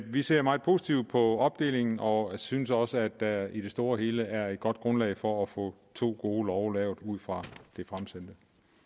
vi ser meget positivt på opdelingen og synes også at der i det store hele er et godt grundlag for at få to gode love lavet ud fra det fremsendte